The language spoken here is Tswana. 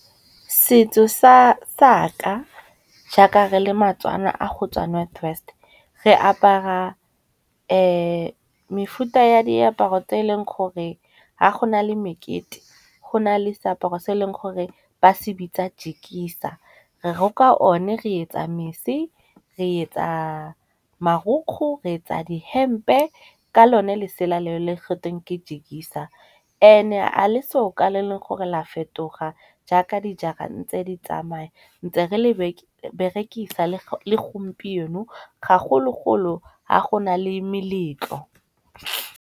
Setso saka jaaka re le matswana a gotswa North West, re apara mefuta ya diaparo tse eleng gore ga go na le mekete go na le seaparo se e leng gore ba se bitsa jekisa. Re roka o ne re etsa mese, re etsa marukgu, re etsa dihempe ka lone lesela leo le gatweng ke jekisa. And-e a le se soka le e Leng gore la fetoga jaaka dijara ntse di tsamaya, ntse re le berekisa le gompieno ga golo-golo ha go na le meletlo.